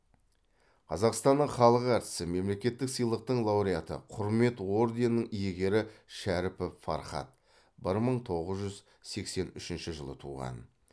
қазақстанның халық әртісі мемлекеттік сыйлықтың лауреаты құрмет орденінің иегері шәріпов фархат бір мың тоғыз жүз сексен үшінші жылы туған